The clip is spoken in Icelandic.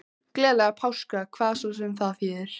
Gleðilega páska, hvað svo sem það þýðir.